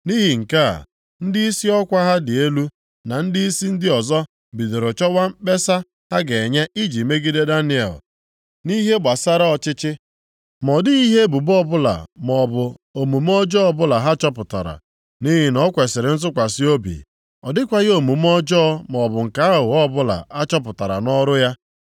Nʼihi nke a, ndịisi ọkwa ha dị elu na ndịisi ndị ọzọ bidoro chọwa mkpesa ha ga-enye iji megide Daniel nʼihe gbasara ọchịchị. Ma ọ dịghị ihe ebubo ọbụla maọbụ omume ọjọọ ọbụla ha chọpụtara, nʼihi na ọ kwesiri ntụkwasị obi. Ọ dịghịkwa omume ọjọọ maọbụ nke aghụghọ ọbụla a chọpụtara nʼọrụ ya.